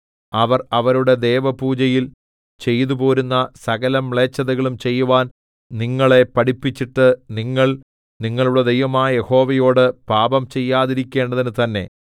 അവർ അവരുടെ ദേവപൂജയിൽ ചെയ്തുപോരുന്ന സകലമ്ലേച്ഛതളും ചെയ്യുവാൻ നിങ്ങളെ പഠിപ്പിച്ചിട്ട് നിങ്ങൾ നിങ്ങളുടെ ദൈവമായ യഹോവയോട് പാപം ചെയ്യാതിരിക്കേണ്ടതിന് തന്നെ